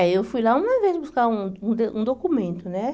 É, eu fui lá uma vez buscar um um de um documento, né?